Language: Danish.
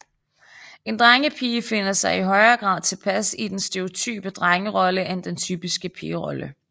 En drengepige finder sig i højere grad tilpas i den stereotype drengerolle end den typiske pigerolle